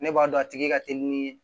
Ne b'a dɔn a tigi ka teli ni